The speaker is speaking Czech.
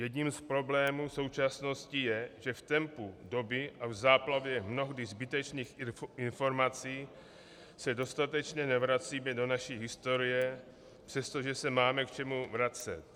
Jedním z problémů současnosti je, že v tempu doby a v záplavě mnohdy zbytečných informací se dostatečně nevracíme do naší historie, přestože se máme k čemu vracet.